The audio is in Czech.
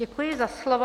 Děkuji za slovo.